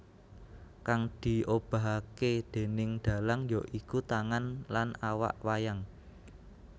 Kang diobahkake déning dalang ya iku tangan lan awak wayang